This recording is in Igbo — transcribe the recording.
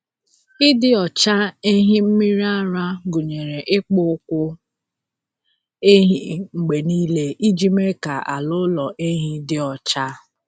Ịdị ọcha ehi mmiri ara gụnyere ịkpụ ụkwụ ehi mgbe niile iji mee ka ala ụlọ ehi dị ọcha.